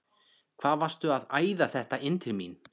HVAÐ VARSTU AÐ ÆÐA ÞETTA INN TIL MÍN!